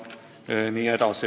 Jne.